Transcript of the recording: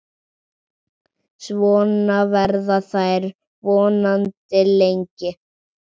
Svona verða þær vonandi lengi.